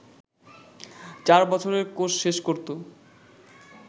চার বছরের কোর্স শেষ করত